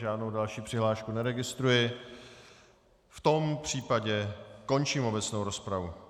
Žádnou další přihlášku neregistruji, v tom případě končím obecnou rozpravu.